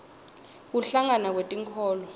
kuhlangana kwetinkholo